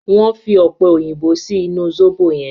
Wón fí Ọ̀pẹ̀-òyìnbó sí inú zobo yen.